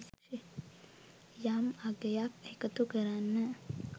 යම් අගයක් එකතු කරන්න